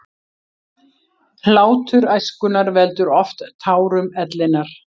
Hlátur æskunnar veldur oft tárum ellinnar.